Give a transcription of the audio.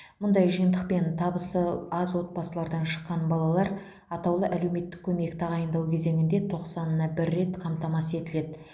мұндай жиынтықпен табысы аз отбасылардан шыққан балалар атаулы әлеуметтік көмек тағайындау кезеңінде тоқсанына бір рет қамтамасыз етіледі